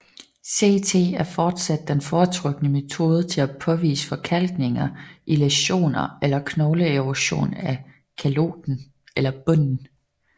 CT er fortsat den foretrukne metode til at påvise forkalkninger i læsioner eller knogleerosion af kaloten eller bunden